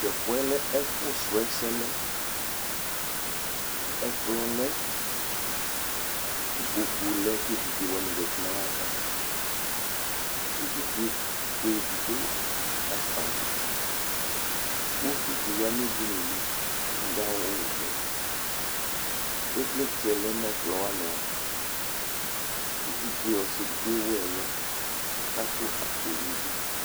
to ɛfuɛ lɛ ɛfu srɔ ɛsɛ ɛkplɔ lɛ ko ikpoku lɛ ko evidze wani zati no ayava evidze fue edigbo kakpɔ avita uvi di ya no udunuli ko ado awu vɛ ivlitsɛ lɛ no ɛkplɔ wani ava evidze ɔsi edigbo ewu ɛlu ko ato akpo nidu